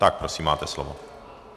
Tak prosím, máte slovo.